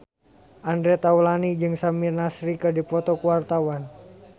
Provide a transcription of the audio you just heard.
Andre Taulany jeung Samir Nasri keur dipoto ku wartawan